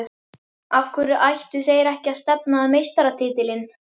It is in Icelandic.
Af hverju ættu þeir ekki að stefna á meistaratitilinn?